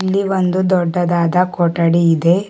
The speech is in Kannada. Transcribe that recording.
ಇಲ್ಲಿ ಒಂದು ದೊಡ್ಡದಾದ ಕೊಠಡಿ ಇದೆ.